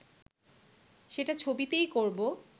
সেটা ছবিতেই করব